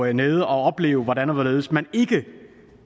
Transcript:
nede at opleve hvordan og hvorledes man ikke